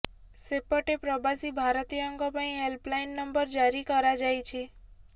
ସେପଟେ ପ୍ରବାସୀ ଭାରତୀୟଙ୍କ ପାଇଁ ହେଲ୍ପ ଲାଇନ୍ ନମ୍ବର ଜାରି କରାଯାଇଛି